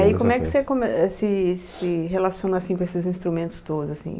E aí como é que você come eh se se relaciona assim com esses instrumentos todos, assim?